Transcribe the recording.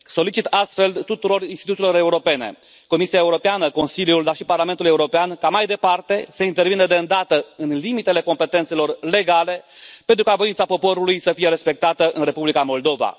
Solicit astfel tuturor instituțiilor europene Comisiei Europene, Consiliului, dar și Parlamentului European ca, mai departe, să intervină de îndată, în limitele competențelor legale, pentru ca voința poporului să fie respectată în Republica Moldova.